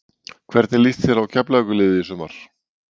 Hvernig lýst þér á Keflavíkurliðið í sumar?